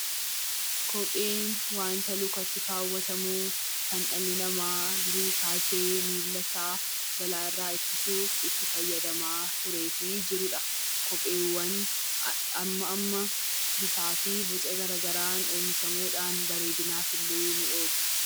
Kopheen waanta lukatti kaawwatamu kan dhalli namaa durii kaasee balaa irraa ittisuuf itti fayyadamaa turee fi jiru dha. Kopheewwan amma amma bifaa fi boca gara garaan oomishamuu dhaan bareedinaaf illee nii oolu.